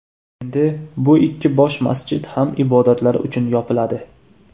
Endi bu ikki bosh masjid ham ibodatlar uchun yopiladi.